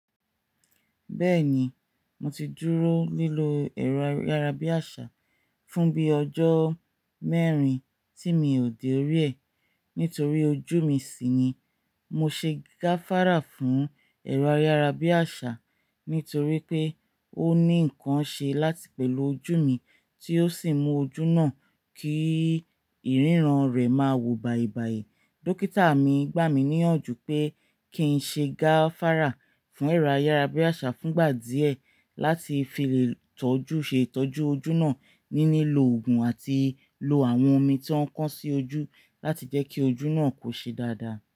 Bẹ́ẹ̀ni, mo ti dúró nílò ẹ̀rọ ayárabíàṣá fún bíi ọjọ́ mẹ́rin tí mi ò dé orí ẹ̀ nítorí ojú mi ṣì nìí. Mo ṣe gáfárà fún ẹ̀rọ ayárabíàṣá nítorí pé ó ní nǹkan ṣe láti pẹ̀lú ojú mi tí ó sì mú ojú náà kí ìrírán rẹ̀ máa wò bàìbàì. Dókítà mi gbà mí níyànjú pé kí n ṣe gáfárà fún ẹ̀rọ ayárabíàṣá fún ìgbà díẹ̀ láti fi lè tọ́jú, ṣe ìtọ́jú ojú náà ní lìlò òògùn àti ìlò àwọn omi tí wọ́n ń kan sí ojú láti jẹ́ kí ojú náà kó ṣe dáadáa.